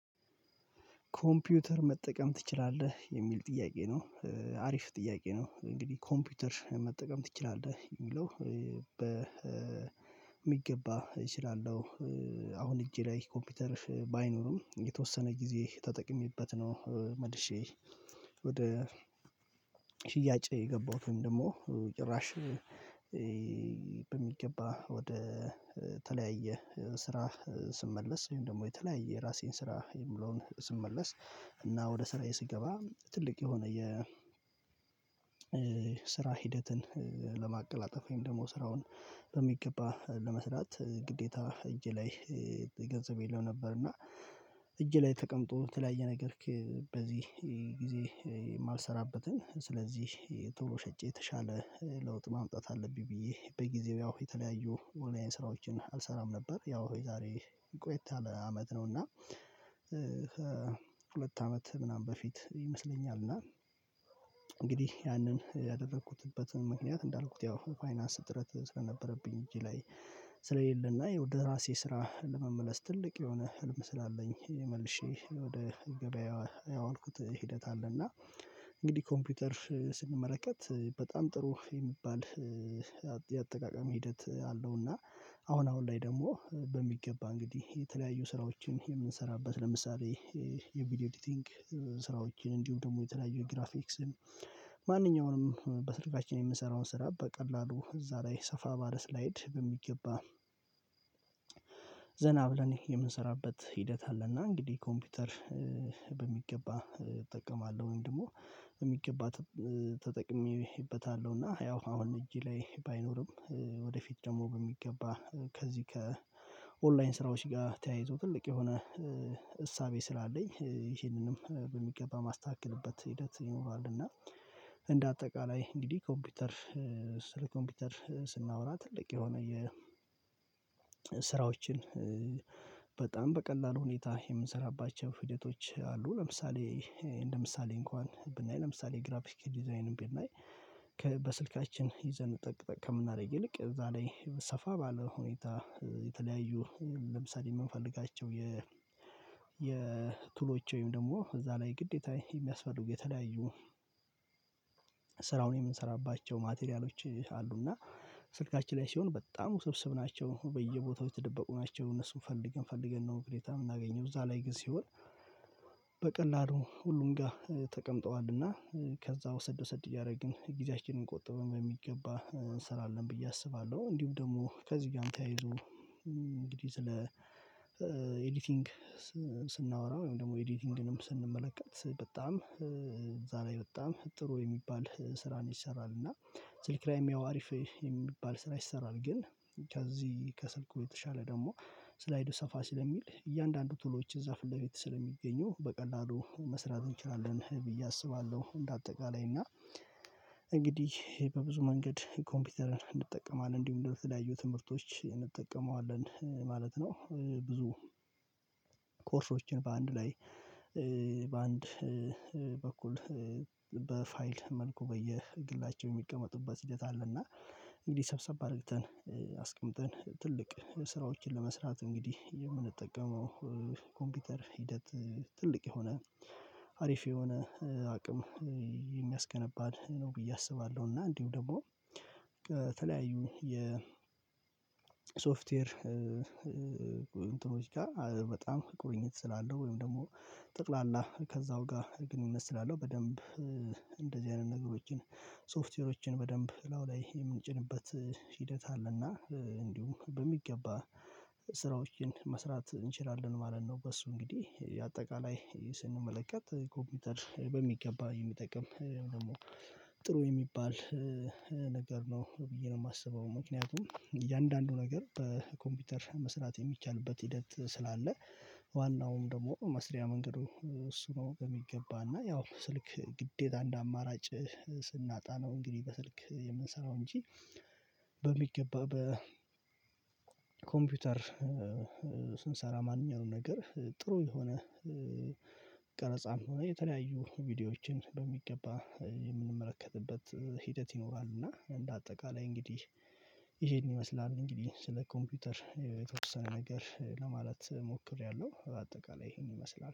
ኮምፒውተር መጠቀም ትችላለህ የሚል ጥያቄ ነው? አሪፍ ጥያቄ ነው እንግዲህ ኮምፒውተር መጠቀም ትችላለህ የሚለው በሚገባ እችላለሁ። አሁን እጄ ላይ ኮምፒውተርሽ ባይኖርም የተወሰነ ጊዜ ተጠቅሜበት ነው መልሼ ወደ ሽያጭ የገባሁትን ደግሞ ጭራሽ በሚገባ ወደ ተለያየ ስራ ስመለስ ወይም ደግሞ የተለያየ የራሴን ስራ የሚለውን ስመለስ እና ወደ ስራዬ ስገባ ትልቅ የሆነ የ ስራ ሂደትን ለማቀላጠፍ ወይም ደግሞ ስራውን በሚገባ ለመስራት ግዴታ እጄ ላይ የለው ነበር እና እጄ ላይ ተቀምጦ ተለያየ ነገርክ። በዚህ ጊዜ የማልሰራበትን ስለዚህ ቶሎ ሸጬ የተሻለ ለውጥ ማምጣት አለብኝ ብዬ በጊዜው ያው የተለያዩ የ ኦንላይን ስራዎችን አልሰራም ነበር ያው የዛሬ ቆይታ አመት ነው። እና ሁለት አመት ምናምን በፊት ይመስለኛል እና እንግዲህ ያንን ያደረኩትበትን ምክንያት እንዳልኩት ያው ፋይናንስ እጥረት ስለነበረብኝ እጄ ላይ ስለሌለና የው ወደ ራሴ ስራ ለመመለስ ትልቅ የሆነ ህልም ስላለኝ መልሼ ወደ ገበያ ያዋልኩት ሂደት አለና። እንግዲህ ኮምፒውተር ስንመለከት በጣም ጥሩ የሚባል የአጠቃቀም ሂደት አለው እና አሁን አሁን ላይ ደግሞ በሚገባ እንግዲህ የተለያዩ ስራዎችን የምንሰራበት ለምሳሌ የቪዲዮ ኤዲቲንግ ስራዎችን እንዲሁም ደግሞ የተለያዩ ግራፊክስን ማንኛውንም በስልካችን የምንሰራውን ስራ በቀላሉ እዛ ላይ ሰፋ ባለ ስላይድ በሚገባ ዘና ብለን የምንሰራበት ሂደት አለና። እንግዲህ ኮምፒውተር በሚገባ እጠቀማለሁ ወይም ደግሞ በሚገባ ተጠቅሜበታለሁ እና ያው አሁን እጄ ላይ ባይኖርም ወደፊት ደግሞ በሚገባ ከዚህ ከኦንላይን ስራዎች ጋር ተያይዞ ትልቅ የሆነ እሳቤ ስላለኝ ይሄንንም በሚገባ ማስተካከልበት ሂደት ይኖራል። እና እንደ አጠቃላይ እንግዲህ ኮምፒውተር ስራ ኮምፒውተር ስናወራ ትልቅ የሆነ የ ስራዎችን በጣም በቀላሉ ሁኔታ የምንሰራባቸው ሂደቶች አሉ። ለምሳሌ እንደምሳሌ እንኳን ብናይ ለምሳሌ ግራፊክ ዲዛይን ብናይ በስልካችን ይዘን ጠቅ ጠቅ ከምናደርግ ይልቅ እዛ ላይ ሰፋ ባለ ሁኔታ የተለያዩ ለምሳሌ የምንፈልጋቸው የ የቱሎች ወይም ደግሞ እዛ ላይ ግዴታ የሚያስፈልጉ የተለያዩ ስራውን የምንሰራባቸው ማቴሪያሎች አሉ። እና ስልካችን ላይ ሲሆን በጣም ውስብስብ ናቸው በየቦታው የተደበቁ ናቸው እነሱን ፈልገን ፈልገን ነው ግዴታ የምናገኘው እዛ ላይ ግን ሲሆን በቀላሉ ሁሉም ጋር ተቀምጠዋልና ከዛ ውሰድ ውሰድ እያደረግን ጊዜያችንን ቆጠበን በሚገባ እንሰራለን ብዬ አስባለሁ። እንዲሁ ደግሞ ከዚው ጋም ተያይዞ እንግዲህ ስለ ኤዲቲንግ ስናወራ ወይም ደግሞ ኤዲቲንግንም ስንመለከት በጣም እዛ ላይ በጣም ጥሩ የሚባል ስራን ይሰራል እና ስልክ ላይም ያው አሪፍ የሚባል ስራ ይሰራል። ግን ከዚህ ከስልኩ የተሻለ ደግሞ ስላይዱ ሰፋ ስለሚል እያንዳንዱ ቱሎዎችን እዛ ፊት ለፊት ስለሚገኙ በቀላሉ መስራት እንችላለን ብዬ አስባለሁ። እንደ አጠቃላይ እና እንግዲህ በብዙ መንገድ ኮምፒውተርን እንጠቀማለን እንዲሁም ደሞ ለተለያዩ ትምህርቶች እንጠቀመዋለን ማለት ነው። ብዙ ኮርሶችን በአንድ ላይ በአንድ በኩል በፋይል መልኩ በየግላቸው የሚቀመጡበት ሂደት አለና እንግዲህ ሰብሰብ አድርግተን አስቀምጠን ትልቅ ስራዎችን ለመስራት እንግዲህ የምንጠቀመው ኮምፒውተር ሂደት ትልቅ የሆነ አሪፍ የሆነ አቅም የሚያስገነባ ነው። ብዬ አስባለሁ እና እንዲሁ ደግሞ በተለያዩ የሶፍትዌር እንትኖች ጋር በጣም ቁርኝት ስላለው ወይም ደግሞ ጠቅላላ ከዛው ጋር ግንኙነት ስላለው በደንብ እንደዚህ አይነት ነገሮችን ሶፍትዌሮችን በደንብ ላው ላይ የምንጭንበት ሂደት አለና እንዲሁም በሚገባ ስራዎችን መስራት እንችላለን ማለት ነው። በሱ እንግዲህ አጠቃላይ ስንመለከት ኮምፒውተር በሚገባ የሚጠቅም ደግሞ ጥሩ የሚባል ነገር ነው ብዬ ነው የማስበው ምክንያቱም እያንዳንዱ ነገር በኮምፒውተር መስራት የሚቻልበት ሂደት ስላለ ዋናውም ደግሞ መስሪያ መንገዱ እሱ ነው የሚገባ እና ያው ስልክ ግዴታ እንደ አማራጭ ስናጣ ነው። እንግዲህ በስልክ የምንሰራው እንጂ በሚገባ በኮምፒውተር ስንሰራ ማንኛውም ነገር ጥሩ የሆነ ቀረጻም ሆነ የተለያዩ ቪዲዮዎችን በሚገባ የምንመለከትበት ሂደት ይኖራል። እና እንደ አጠቃላይ እንግዲህ ይሄን ይመስላል እንግዲህ ስለ ኮምፒውተር የተወሰነ ነገር ለማለት ሞክሬያለሁ። በአጠቃላይ ይሄን ይመስላል